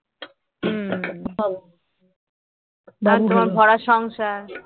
আর তোমার ভরা সংসার